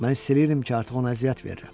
Mən hiss edirdim ki, artıq ona əziyyət verirəm.